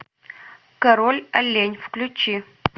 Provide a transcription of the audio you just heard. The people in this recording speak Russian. король олень включи